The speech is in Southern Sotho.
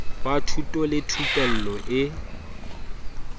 wa thuto le thupello e